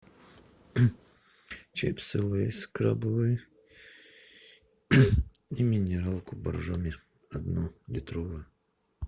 чипсы лейс крабовые и минералку боржоми одну литровую